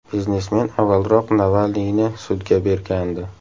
Biznesmen avvalroq Navalniyni sudga bergandi.